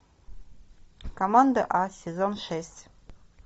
команда а сезон шесть